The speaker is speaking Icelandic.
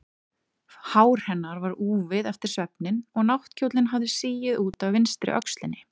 Hár hennar var úfið eftir svefninn og náttkjóllinn hafði sigið út af vinstri öxlinni.